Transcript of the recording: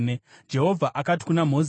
Jehovha akati kuna Mozisi,